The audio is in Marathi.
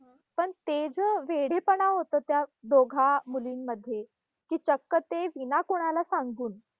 पण ते ज वेडेपणा होता, त्या दोघा मुलींमध्ये, की चक्क ते विना कोणाला सांगून